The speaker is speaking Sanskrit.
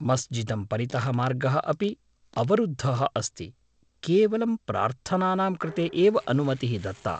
मस्जिदं परितः मार्गः अपि अवरुद्धः अस्ति, केवलं प्रार्थनानां कृते एव अनुमतिः दत्ता।